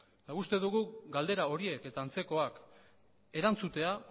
guk uste dugu galdera horiek eta antzekoak erantzutea